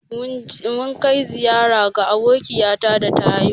Mun kai ziƴara ga abokiƴata da ta haihu.